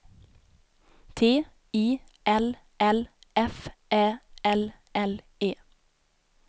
T I L L F Ä L L E